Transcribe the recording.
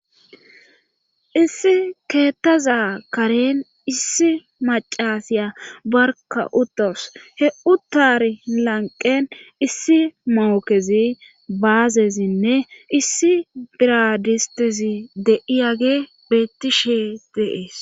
issi keettaza karen issi macasiya barka utos heu taari lanqen issi mookezi baazezinne issi biradistezi deiyage beetti shee de'ees